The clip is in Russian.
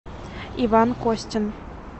иван костин